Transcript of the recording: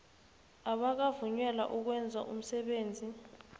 abakavunyelwa ukwenza umsebenzi